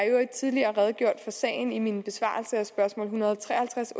i øvrigt tidligere redegjort for sagen i min besvarelse af spørgsmål en hundrede og tre og halvtreds